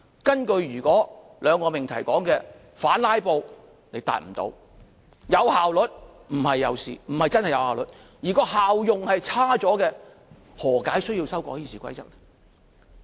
根據兩個命題所說：反"拉布"，你無法達到；有效率，不是真的有效率，而效用卻變差，何解需要修改《議事規則》？